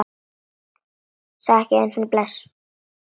Sagði ekki einu sinni bless.